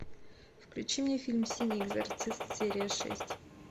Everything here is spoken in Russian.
включи мне фильм синий экзорцист серия шесть